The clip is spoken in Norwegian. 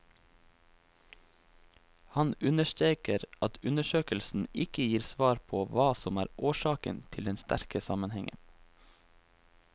Han understreker at undersøkelsen ikke gir svar på hva som er årsaken til den sterke sammenhengen.